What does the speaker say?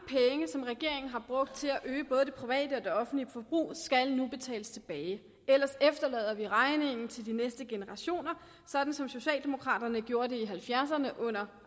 som regeringen har brugt til at øge både det private og det offentlige forbrug skal nu betales tilbage ellers efterlader vi regningen til de næste generationer sådan som socialdemokraterne gjorde det i nitten halvfjerdserne under